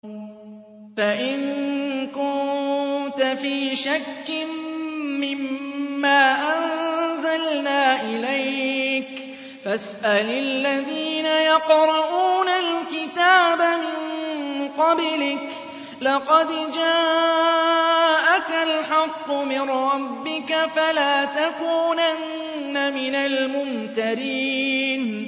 فَإِن كُنتَ فِي شَكٍّ مِّمَّا أَنزَلْنَا إِلَيْكَ فَاسْأَلِ الَّذِينَ يَقْرَءُونَ الْكِتَابَ مِن قَبْلِكَ ۚ لَقَدْ جَاءَكَ الْحَقُّ مِن رَّبِّكَ فَلَا تَكُونَنَّ مِنَ الْمُمْتَرِينَ